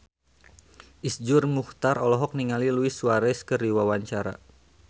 Iszur Muchtar olohok ningali Luis Suarez keur diwawancara